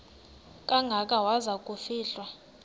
kangaka waza kufihlwa